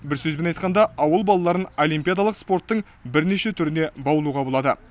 бір сөзбен айтқанда ауыл балаларын олимпиадалық спорттың бірнеше түріне баулуға болады